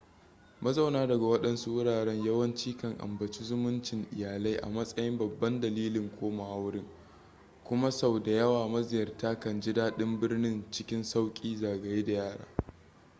mazauna daga waɗansu wuraren yawanci kan ambaci zumuncin iyalai a matsayin babban dalilin komawa wurin kuma sau da yawa maziyarta kan ji daɗin birnin cikin sauƙi zagaye da yara